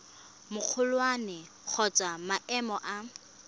magolwane kgotsa wa maemo a